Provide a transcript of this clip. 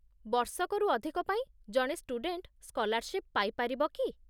ବର୍ଷକରୁ ଅଧିକ ପାଇଁ ଜଣେ ଷ୍ଟୁଡେଣ୍ଟ ସ୍କଲାର୍ଶିପ୍ ପାଇ ପାରିବ କି?